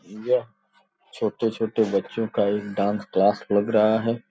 यह छोटे छोटे बच्चों का एक डांस क्लास लग रहा है।